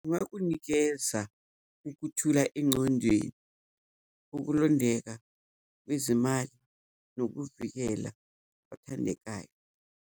Kungakunikeza ukuthula engqondweni, ukulondeka kwezimali nokuvikela othandekayo.